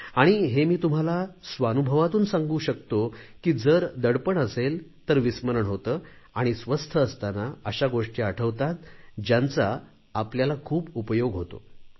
आणि हे मी तुम्हाला स्वानुभवातून सांगू शकतो की जर दडपण असेल तर विस्मरण होते आणि स्वस्थ असताना अशा गोष्टी आठवतात ज्यांचा आपल्याला खूप उपयोग होतो